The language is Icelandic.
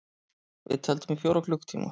Við tefldum í fjóra klukkutíma!